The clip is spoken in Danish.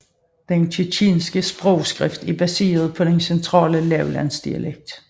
Det tjetjenske skriftsprog er baseret på den centrale lavlandsdialekt